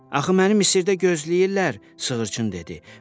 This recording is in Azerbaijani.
Axı mənim Misirdə gözləyirlər, sığırçın dedi.